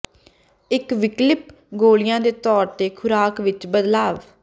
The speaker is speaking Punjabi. ਇੱਕ ਵਿਕਲਪਿਕ ਗੋਲੀਆਂ ਦੇ ਤੌਰ ਤੇ ਖੁਰਾਕ ਵਿੱਚ ਬਦਲਾਵ